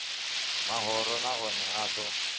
mahoro na one a ḓo